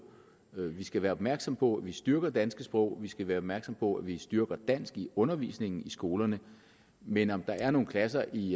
vi skal være opmærksomme på at vi styrker det danske sprog vi skal være opmærksomme på at vi styrker dansk i undervisningen i skolerne men om der er nogle klasser i